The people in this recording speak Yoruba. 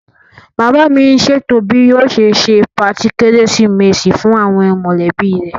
Bàbá mi n ṣètò bí yóò ṣe se patí kérésìmesì fún àwọn mọ̀lẹ́bí rẹ̀